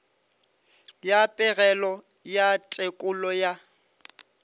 ya pegelo ya tekolo ya